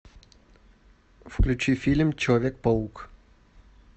включи фильм человек паук